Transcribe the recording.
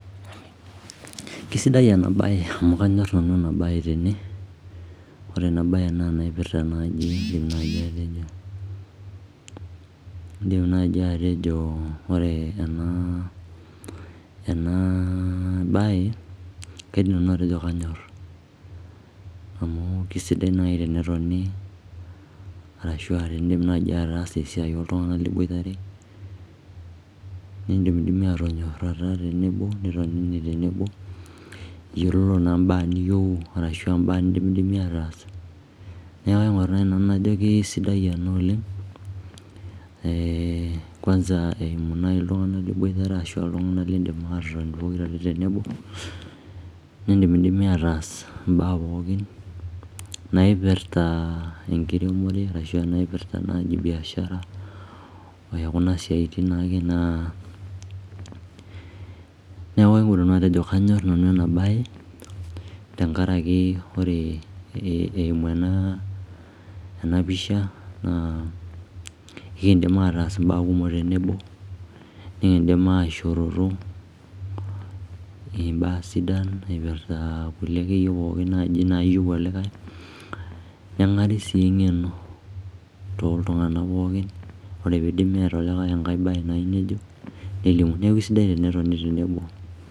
kisidai ena bae amu kanyor nanu ena bae tene, ore ena bae naa naipirta naaji indim naaji atejo, indim naaji atejo o ore ena enaaa bae kaidim nanu atejo kanyor, amu kisidai naai tenetoni arashua tenindim naaji ataasa esiai oltung'anak liboitare, nindimidimi atonyorata tenebo nitonini tenebo iyiololo naa mbaa niyieuu arashua mbaa nindimidimi ataas, neeku kaing; or naai nanu najo kisidai ena oleng eeh kwanza eimu naai iltung'anak liboitare ashua iltung'anak lindim atotoni pokirare tenebo, nindimidimi ataas mbaa pookin naipirta enkiremore arashua naipirta naaji biashara o kuna siaitin naake naa. neeku aewuo nanu atejo kanyor nanu ena bae tenkaraki ore eimu pisha naa ekindim ataas mbaa kumok tenebo, nikindim aishoroto mbaa sidan eipirta kulie ake yie pookin naaji naayieu olikae, neng'ari sii eng'eno toltung'anak pookin, ore peidim neeta olikae enkae bae nayieu nejo nelimu, neeku eisidai tenetoni tenebo.